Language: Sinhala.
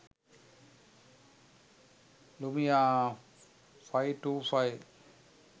lumia 525